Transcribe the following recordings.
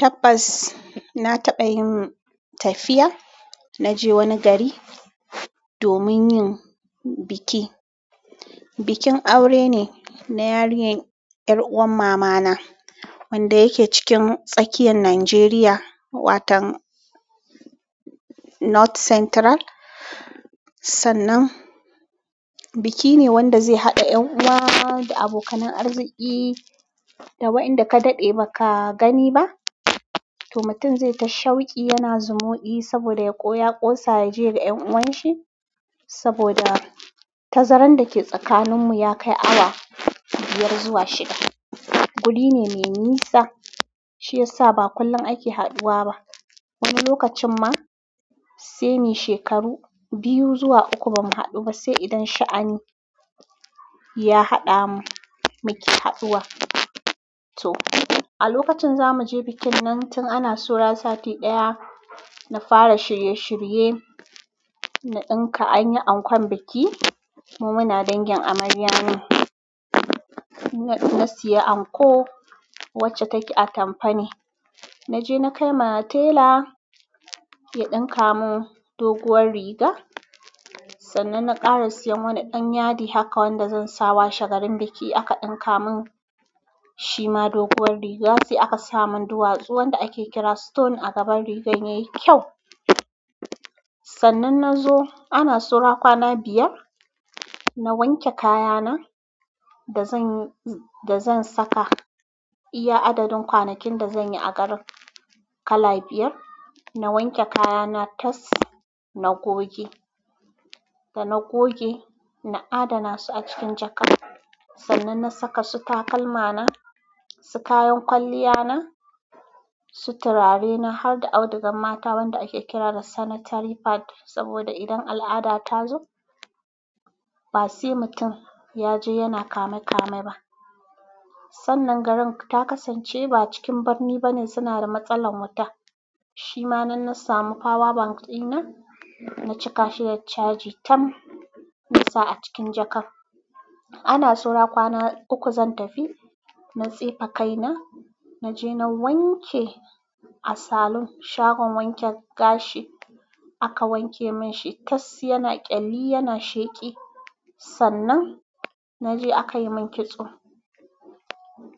Tabbas na taɓa yin tafiya. Na je wani gari domin yin biki. Bikin aure ne na yarinyar yar'uwar mamana wanda yake cikin tsakiyar Najeriya, watan North Central. Sannan, biki ne wanda zai haɗa ƴan uwa da abokanan arziki da waɗanda ka daɗe ba ka gani ba. To, mutum zai ta shauki. Yana zumudi saboda ya ƙosa ya je ga ƴan uwanshi saboda tazarar da ke tsakaninmu ya kai awa biyar zuwa shida. Guri ne mai nisa, shiyasa ba kullum ake haɗuwa ba. Wani lokacin ma, sai muyi shekaru biyu zuwa uku ba mu haɗu ba sai idan sha'ani ya haɗa mu muke haɗuwa. To, a lokacin za mu je bikin nan, tun ana saura sati ɗaya na fara shirye-shirye, na ɗinka an yi ankon biki. Mu muna dangin amarya ne. Na sayi anko wacce take atampa ne. Na je na kai ma tela ya ɗinka mun doguwar riga. Sannan na ƙara siyan wani ɗan yadi haka wanda zan sa wa shagalin biki aka ɗinka mun shi ma doguwar riga. Sai aka sa mun duwatsu wanda ake kira stone a gaban rigan yayi kyau. Sannan na zo, ana saura kwana biyar, na wanke kayana da zan saka, iya adadin kwanakin da zan yi a garin, kala biyar. Na wanke kayana tas, na goge. Da na goge, na adana su a cikin jaka. Sannan na saka su takalma na, su kayan kwalliya na, su turare na harda audugar mata wanda ake kira da sanitary pad saboda idan al'ada ta zo, ba sai mutum ya je yana kame-kame ba. Sannan garin ta kasance ba cikin birni bane sunada matsalar wuta. Shima nan na samu power bank ɗina ba cikashi da charging tam na saka shi a cikin jakan. Ana saura kwana uku zan tafi. Na tsefe kaina. Na je na wanke a salon, shagon wanke gashi aka wanke mun shi. Tas yana ƙyali, yana sheƙi. Sannan, na je aka yi mun kitso.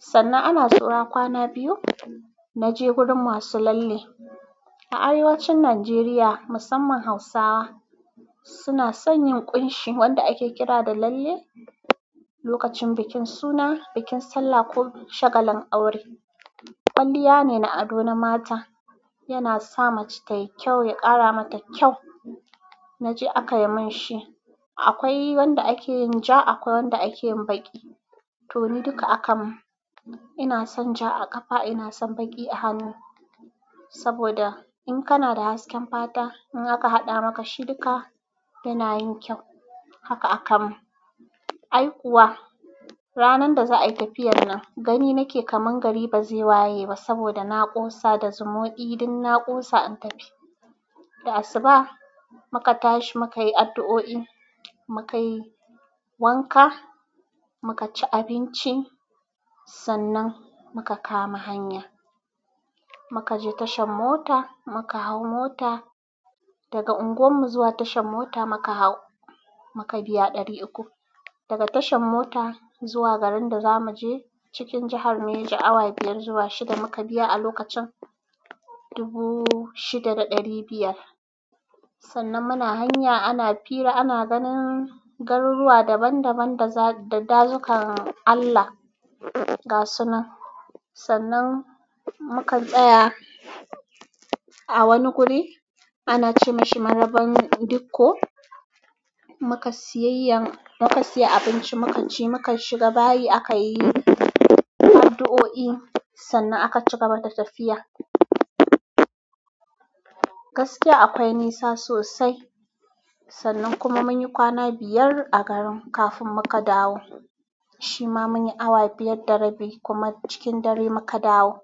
Sannan ana saura kwana biyu. Na je gurin masu lalle. A arewacin Najeriya musamman Hausawa suna son yin ƙunshi wanda ake kira da lalle lokacin bikin suna, bikin sallah ko shagalin aure. Kwalliya ne na ado na mata. Yana sa mace tayi kyau, ya ƙara mata kyau. Na je aka yi mun shi. Akwai wanda ake yin ja, akwai wanda ake yin baƙi. To, ni duka aka mun. Ina son ja a ƙafa, ina son baƙi a hannu saboda in kana da hasken fata, in aka haɗa maka shi duka, yana yin kyau. Haka aka mun. Ai kuwa, ranar da za a yi tafiyar nan, gani nake kaman gari ba zai waye ba saboda na ƙosa da zumunci. Duk na ƙosa na tafi da asuba muka tashi mukayi adu'u'i mukayi wanka muka ci abinci sannan muka kama hanya. Maka je tashan mota, muka hau mota. Daga unguwarmu zuwa tashan mota muka hau, muka biya ɗari uku. Daga tashan mota zuwa garin da za mu je cikin jihar, Niger awa biyar zuwa shida. Muka biya a lokacin dubu shida da ɗari biyar. Sannan muna hanya ana fira, ana ganin garuruwa daban daban da dazukan Allah gasunan. Sannan muka tsaya a wani guri. Ana ce mashi Maraban Diko. Muka siya abinci muka ci, muka shiga bayi aka yi addu'o'i sannan aka cigaba da tafiya. Gaskiya akwai nisa sosai. Sannan kuma mun yi kwana biyar a garin kafin muka dawo. Shi ma mun yi awa biyar da rabi kuma cikin dare muka dawo.